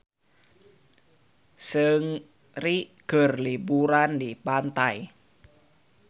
Seungri keur liburan di pantai